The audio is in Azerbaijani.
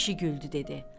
Kişi güldü dedi: